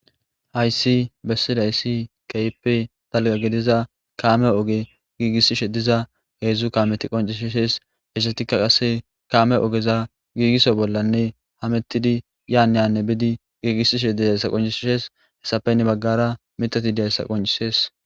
Hayssi bessidayss kehippe kamme ogge gigisishe dizza hezzu kammeti dizayssa qonccissees hessatikka qasse kamme ogezza gigisso bollanne hamettidi yanne hannebiddi gigisishe dizayssa qonccisses hessappe hini bagarra mithatti dizayssa qonccisses.